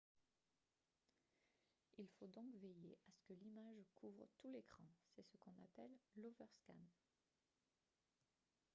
il faut donc veiller à ce que l'image couvre tout l'écran c'est ce qu'on appelle l'overscan